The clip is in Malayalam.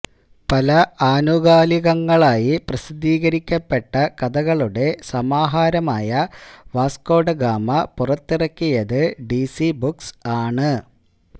പല ആനുകാലികങ്ങളിലായി പ്രസിദ്ധീകരിക്കപ്പെട്ട കഥകളുടെ സമാഹാരമായ വാസ്കോഡഗാമ പുറത്തിറക്കിയത് ഡി സി ബുക്സ് ആണ്